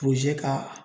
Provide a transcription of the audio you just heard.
ka